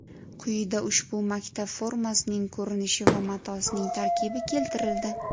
Quyida ushbu maktab formasining ko‘rinishi va matosining tarkibi keltirildi .